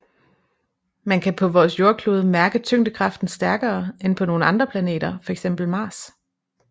Man kan på vores jordklode mærke tyngdekraften stærkere end på nogle andre planeter fx Mars